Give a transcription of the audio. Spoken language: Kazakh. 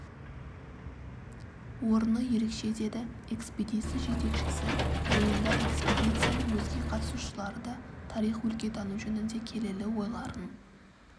орны ерекше деді экспедиция жетекшісі жиында экспедицияның өзге қатысушылары да тарих өлкетану жөнінде келелі ойларын